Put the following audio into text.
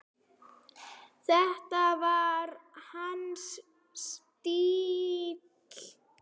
Þetta var hans stíll.